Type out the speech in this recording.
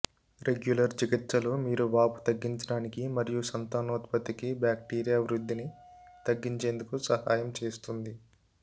regular చికిత్సలు మీరు వాపు తగ్గించడానికి మరియు సంతానోత్పత్తి బ్యాక్టీరియా వృద్ధిని తగ్గించేందుకు సహాయం చేస్తుంది